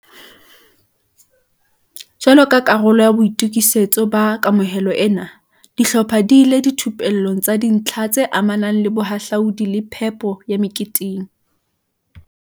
Jwalo ka karolo ya boito kisetso ba kamohelo ena, di hlopha di ile dithupellong tsa dintlha tse amanang le bohahlaudi le phepo ya me keteng.